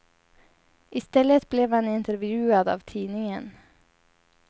I stället blev han intervjuad av tidningen.